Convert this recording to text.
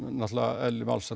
náttúrulega eðli málsins